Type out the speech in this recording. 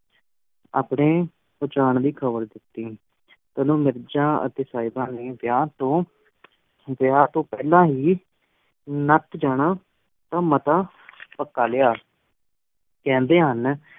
ਅਪਣੇ ਪੁਚਾਂਨ ਦੀ ਖ਼ਬਰ ਦਿਤੀ ਤੇ ਮਿਰਜ਼ਾ ਅਤੇ ਸਾਹਿਬਾ ਨੇ ਵਿਆਹ ਤੋਂ, ਵਿਆਹ ਤੋਂ ਪਹਿਲਾ ਹੀ ਨਟ ਜਾਣਾ ਦਾ ਮਤਾ ਪਕਾ ਲਿਆ। ਕਹਿੰਦੇ ਹਨ